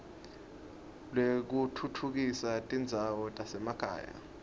lwekutfutfukisa tindzawo tasemakhaya